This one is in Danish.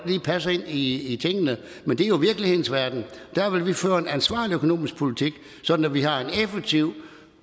lige i tingene men det er jo virkelighedens verden der vil vi føre en ansvarlig økonomisk politik sådan at vi har en effektiv